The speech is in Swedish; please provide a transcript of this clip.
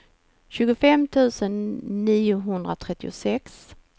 tjugofem tusen niohundratrettiosex